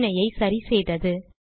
பிரச்சினையை சரி செய்தது